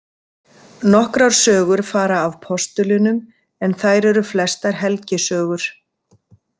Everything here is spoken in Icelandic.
Nokkrar sögur fara af postulunum en þær eru flestar helgisögur.